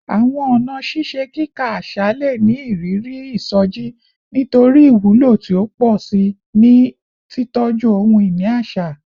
Awọn ọna ṣiṣe kika aṣa le ni iriri isoji nitori iwulo ti o pọ si ni titọju ohun-ini aṣa